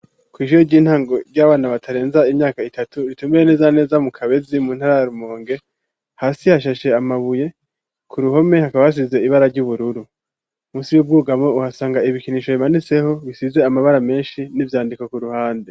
Kw'ishure ry'intango ry'abana batarenza imyaka itatu ritumire neza neza mu kabezi mu ntara ya rumonge hasi hashashe amabuye ku ruhome hakaba hasize ibara ry'ubururu munsi y'ubwugamo uhasanga ibikinisho bimaniseho bisize amabara menshi n'ivyandiko ku ruhande.